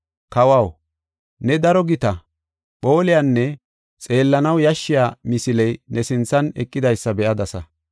“Kawaw, ne daro gita, phooliyanne xeellanaw yashshiya misiley ne sinthan eqidaysa be7adasa.